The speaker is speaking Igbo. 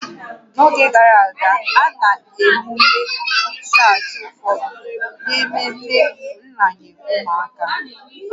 N'oge gara aga, a na-emume ichụaja ụfọdụ n'ememe nranye ụmụaka